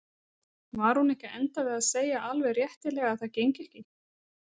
Var hún ekki að enda við að segja alveg réttilega að það gengi ekki?